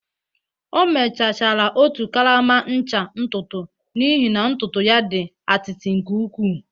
O mechachara otu karama ncha ntutu n'ihi na ntutu ya dị atịtị nke ukwuu